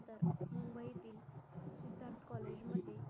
college मध्ये